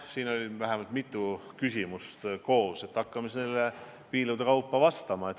Siin oli nüüd mitu küsimust koos, hakkan siis neile osade kaupa vastama.